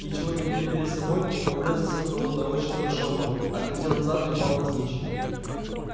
ничего не видя перед собой он врезался в кого-то очень большого отлетел назад и упал навзничь